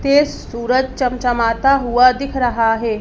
तेज सूरज चमचमाता हुआ दिख रहा है।